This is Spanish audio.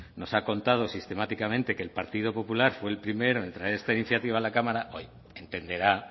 nos ha contado sistemáticamente que el partido popular fue el primero en traer esta iniciativa a la cámara entenderá